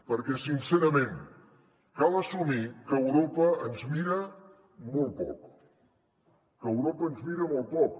perquè sincerament cal assumir que europa ens mira molt poc que europa ens mira molt poc